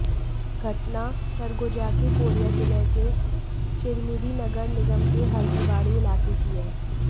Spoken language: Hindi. घटना सरगुजा के कोरिया जिले के चिरमिरी नगर निगम के हल्दीबाड़ी इलाके की है